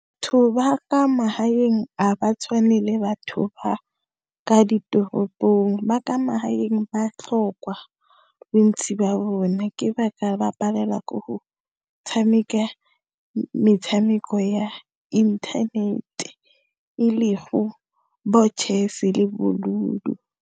Batho ba kwa magaeng, a ba tshwane le batho ba ka ditoropong ba ka magaeng ba tlhokwa, bontsi ba bone. Ke ba ka ba palelwa ke go tshameka metshameko ya internet-e le go bo chess-e le bo ludo.